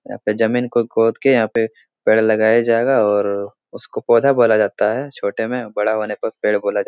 यहाँ पे जमीन को खोद के यहाँ पे पेड़ लगाया जाएगा और उसको पौधा बोला जाता है छोटे में बड़ा होने पेड़ बोला जा --